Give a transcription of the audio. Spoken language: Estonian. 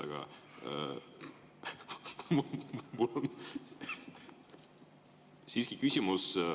Aga mul on siiski küsimus.